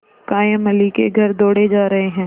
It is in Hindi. कायमअली के घर दौड़े जा रहे हैं